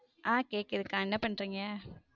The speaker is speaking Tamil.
ஹம் கேக்குதுக்க என்ன பண்றிங்க?